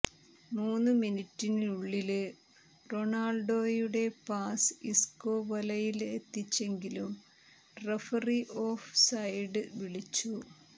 മൂന്നു മിനിറ്റിനുള്ളില് റൊണാള്ഡോയുടെ പാസ് ഇസ്കോ വലയിലെത്തിച്ചെങ്കിലും റഫറി ഓഫ് സൈഡ് വിളിച്ചു